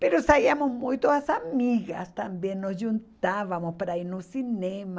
saíamos muito as amigas também, nos juntávamos para ir ao cinema.